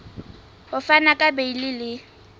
ho fana ka beile le